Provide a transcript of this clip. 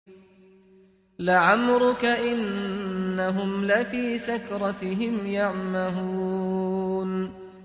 لَعَمْرُكَ إِنَّهُمْ لَفِي سَكْرَتِهِمْ يَعْمَهُونَ